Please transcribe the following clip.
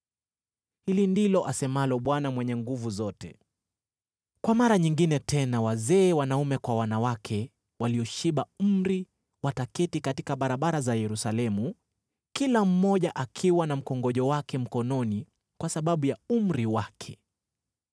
Hili ndilo asemalo Bwana Mwenye Nguvu Zote: “Kwa mara nyingine tena wazee wanaume kwa wanawake walioshiba umri wataketi katika barabara za Yerusalemu, kila mmoja akiwa na mkongojo wake mkononi kwa sababu ya umri wake.